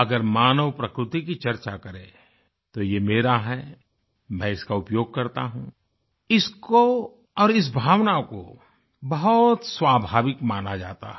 अगर मानव प्रकृति की चर्चा करें तो ये मेरा है मैं इसका उपयोग करता हूँ इसको और इस भावना को बहुत स्वाभाविक माना जाता है